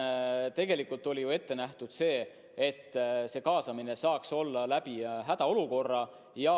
Tegelikult oli ette nähtud, et see kaasamine saaks olla hädaolukorra ajal.